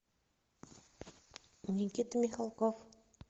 никита михалков